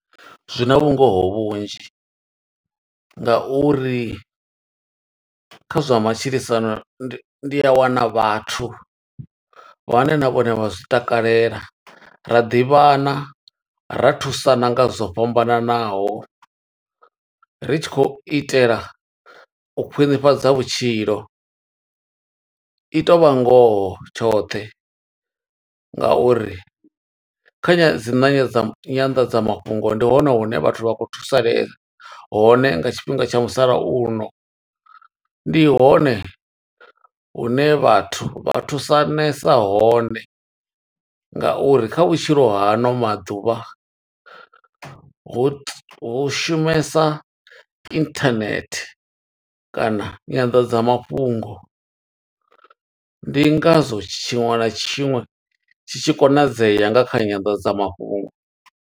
Zwina vhungoho vhunzhi nga uri kha zwa matshilisano ndi, ndi a wana vhathu vhane na vhone vha zwi takalela. Ra ḓivhana, ra thusana nga zwo fhambananaho, ri tshi khou itela u khwiṋifhadza vhutshilo. I to vha ngoho tshoṱhe nga uri kha nya dzi nangedzamo dzi nyanḓadza mafhungo ndi hone hune vhathu vha khou thusalea, hone nga tshifhinga tsha musalauno. Ndi hone hune vhathu vha thusanesa hone nga uri kha vhutshilo ha ano maḓuvha, hu ti, hu shumesa inthanethe kana nyanḓadza mafhungo. Ndi nga zwo tshiṅwe na tshiṅwe tshi tshi konadzea nga kha nyanḓadza mafhungo.